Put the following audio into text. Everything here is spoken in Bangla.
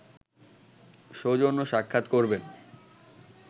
সৌজন্য সাক্ষাৎ করবেন